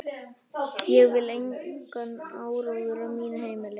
Ég vil engan áróður á mínu heimili.